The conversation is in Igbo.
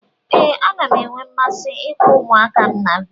Ee, ana m enwe mmasị ịkpọ ụmụaka m a vidiyo.